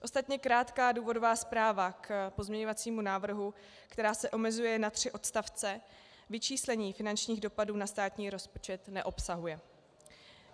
Ostatně krátká důvodová zpráva k pozměňovacímu návrhu, která se omezuje na tři odstavce, vyčíslení finančních dopadů na státní rozpočet neobsahuje.